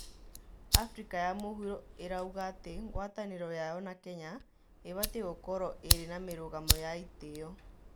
Afrika ya mũhuro ĩraũga atĩ ngwatanĩro yao na Kenya ĩbatie gũkorwo ĩrĩ na mirũgamo ya itĩo